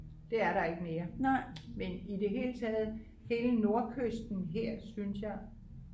det er der ikke mere men i det hele taget hele nordkysten her synes jeg